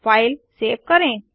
file save करें